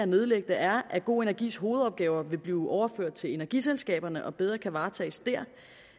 nedlægge det er at go energis hovedopgaver vil blive overført til energiselskaberne og bedre kan varetages der